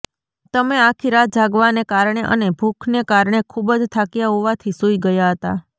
તમે આખી રાત જાગવાને કારણે અને ભુખને કારણે ખુબ જ થાક્યા હોવાથી સુઈ ગયાં હતાં